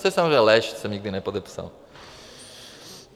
To je samozřejmě lež, to jsem nikdy nepodepsal.